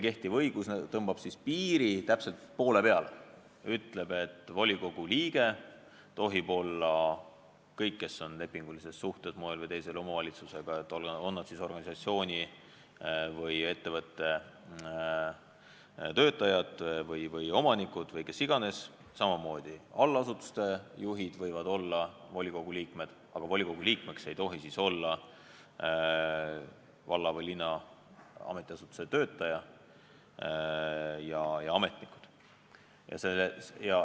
Kehtiv õigus tõmbab piiri täpselt poole peale, ütleb, et volikogu liikmed tohivad olla kõik, kes on moel või teisel lepingulises suhtes omavalitsusega, on nad siis organisatsiooni või ettevõtte töötajad, omanikud või kes iganes, samamoodi võivad allasutuste juhid olla volikogu liikmed, aga volikogu liikmeks ei tohi olla valla või linna ametiasutuse töötajad ja ametnikud.